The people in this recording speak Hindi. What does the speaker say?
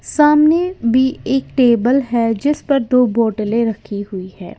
सामने भी एक टेबल है जिस पर दो बोटलें रखी हुई है।